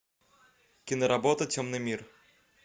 киноработа темный мир